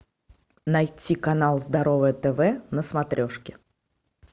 найти канал здоровое тв на смотрешке